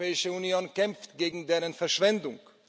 Die Europäische Union kämpft gegen deren Verschwendung.